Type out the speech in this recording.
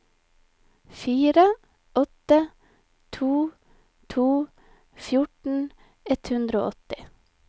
fire åtte to to fjorten ett hundre og åtti